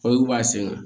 b'a sen ŋa